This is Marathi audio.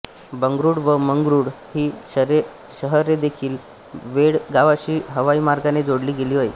बंगळूर व मंगळूर ही शहरेदेखील बेळगावाशी हवाईमार्गाने जोडली गेली आहेत